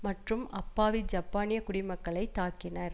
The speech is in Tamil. மற்றும் அப்பாவி ஜப்பானிய குடிமக்களை தாக்கினர்